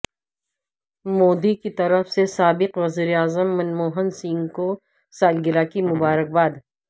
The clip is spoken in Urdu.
مودی کی طرف سے سابق وزیراعظم منموہن سنگھ کو سالگرہ کی مبارک باد